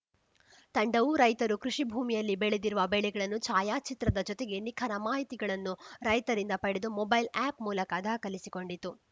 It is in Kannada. ತಂಡವು ರೈತರು ಕೃಷಿ ಭೂಮಿಯಲ್ಲಿ ಬೆಳೆದಿರುವ ಬೆಳೆಗಳನ್ನು ಛಾಯಾಚಿತ್ರದ ಜೊತೆಗೆ ನಿಖರ ಮಾಹಿತಿಗಳನ್ನು ರೈತರಿಂದ ಪಡೆದು ಮೊಬೈಲ್‌ ಆಪ್‌ ಮೂಲಕ ದಾಖಲಿಸಿಕೊಂಡಿತು